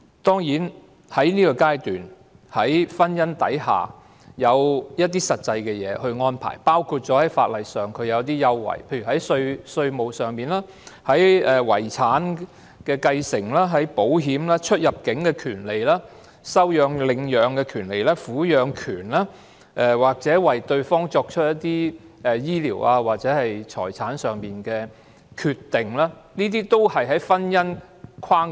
當然，在這階段，在婚姻的法律框架下已賦予某些權利，包括稅務、遺產的繼承、保險，出入境的權利、收養/領養的權利、撫養權、為對方作出醫療或財產上的決定等。